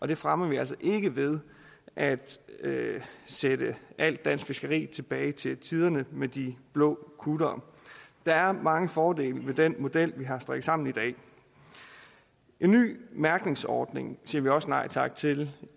det fremmer vi altså ikke ved at sætte alt dansk fiskeri tilbage til tiderne med de blå kuttere der er mange fordele ved den model vi har strikket sammen i dag en nye mærkningsordning siger vi også nej tak til